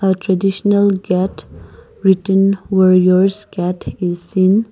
the traditional gate written warriors gate is seen.